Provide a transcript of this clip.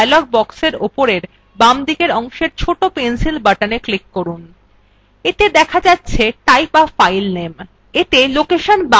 এরজন্য dialog boxএর উপরের বাঁদিকের অংশের ছোট pencil buttona click করুন এতে দেখা যাচ্ছে type a file name